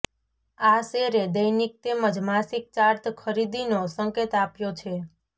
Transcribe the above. આ શેરે દૈનિક તેમજ માસિક ચાર્ટ ખરીદીનો સંકેત આપ્યો છે